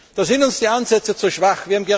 Da sind uns die Ansätze zu schwach.